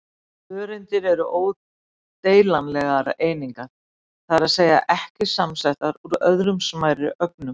Öreindir eru ódeilanlegar einingar, það er að segja ekki samsettar úr öðrum smærri ögnum.